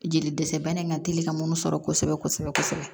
Jeli dɛsɛ bana in ka deli ka mun sɔrɔ kosɛbɛ kosɛbɛ kosɛbɛ